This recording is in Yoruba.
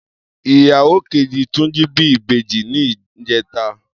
Iyáwó kéjí Tunji bi ibéjí nijètá